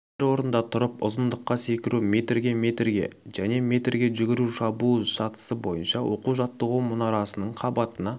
бір орында тұрып ұзындыққа секіру метрге метрге және метрге жүгіру шабуыл сатысы бойынша оқу-жаттығу мұнарасының қабатына